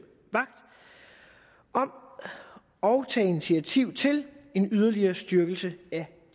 vagt om og tage initiativ til en yderligere styrkelse af